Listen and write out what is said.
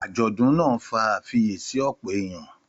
Àjọ̀dún náà fa àfiyèsí ọ̀pọ̀ èèyàn.